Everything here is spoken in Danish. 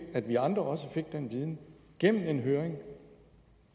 at vi andre også fik den viden gennem en høring